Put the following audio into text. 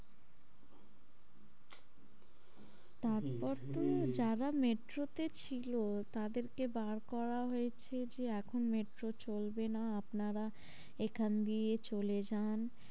তারপর তো হম যারা metro তে ছিল তাদের কে বার করা হয়েছে যে এখন metro চলবে না আপনারা এখন দিয়ে চলে যান,